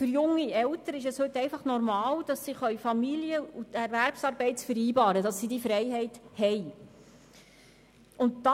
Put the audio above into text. Für junge Eltern ist es normal, Familien- und Erwerbsarbeit zu vereinbaren und diese Freiheit zu haben.